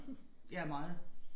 Ja meget